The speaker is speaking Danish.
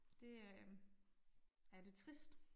Det øh er lidt trist